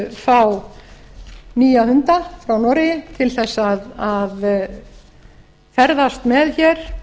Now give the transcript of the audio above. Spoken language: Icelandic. fá nýja hunda frá noregi til þess að ferðast með hér